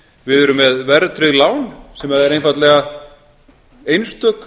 við erum með verðtryggð lán sem er einfaldlega einstök